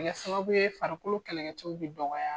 O bɛ kɛ sababu ye farikolo kɛlɛkɛcɛw bɛ dɔgɔya